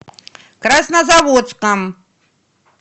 краснозаводском